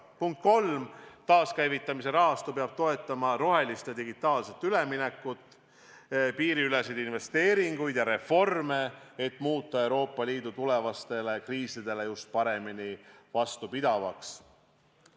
Punkt 3: taaskäivitamise rahastu peab toetama rohelist ja digitaalset üleminekut, piiriüleseid investeeringuid ja reforme, et muuta Euroopa Liit tulevastele kriisidele paremini vastupidavaks.